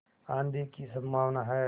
आँधी की संभावना है